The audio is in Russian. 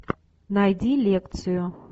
найди лекцию